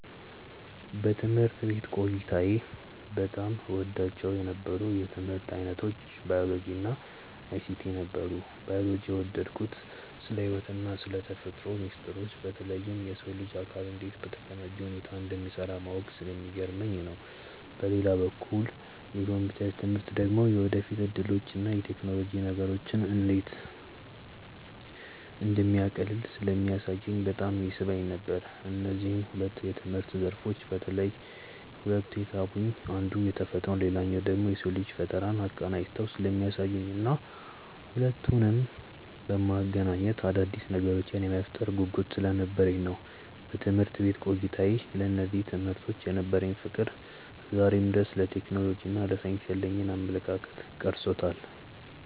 በትምህርት ቤት ቆይታዬ በጣም እወዳቸው የነበሩት የትምህርት ዓይነቶች ባዮሎጂ እና አይሲቲ ነበሩ። ባዮሎጂን የወደድኩት ስለ ሕይወትና ስለ ተፈጥሮ ሚስጥሮች በተለይም የሰው ልጅ አካል እንዴት በተቀናጀ ሁኔታ እንደሚሠራ ማወቁ ስለሚገርመኝ ነው። በሌላ በኩል የኮምፒውተር ትምህርት ደግሞ የወደፊት ዕድሎችንና ቴክኖሎጂ ነገሮችን እንዴት እንደሚያቃልል ስለሚያሳየኝ በጣም ይስበኝ ነበር። እነዚህ ሁለት የትምህርት ዘርፎች በተለየ ሁኔታ የሳቡኝ አንዱ ተፈጥሮን ሌላኛው ደግሞ የሰውን ልጅ ፈጠራ አቀናጅተው ስለሚያሳዩኝና ሁለቱንም በማገናኘት አዳዲስ ነገሮችን የመፍጠር ጉጉት ስለነበረኝ ነው። በትምህርት ቤት ቆይታዬ ለእነዚህ ትምህርቶች የነበረኝ ፍቅር ዛሬም ድረስ ለቴክኖሎጂና ለሳይንስ ያለኝን አመለካከት ቀርጾታል።